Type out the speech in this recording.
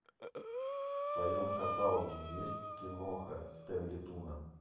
в твоем каталоге есть киноха стэнли туна